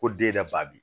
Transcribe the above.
Ko den yɛrɛ ba bi